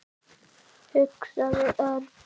hugsaði Örn.